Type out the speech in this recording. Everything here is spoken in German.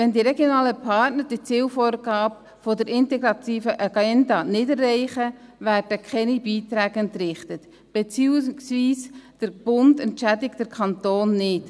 Wenn die regionalen Partner die Zielvorgaben der integrativen Agenda nicht erreichen, werden keine Beiträge entrichtet, beziehungsweise der Bund entschädigt den Kanton nicht.